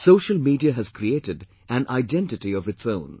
Social media has created an identity of its own